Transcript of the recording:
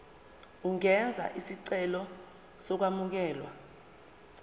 ungenza isicelo sokwamukelwa